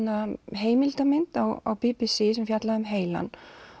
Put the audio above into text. heimildamynd á b b c á heilann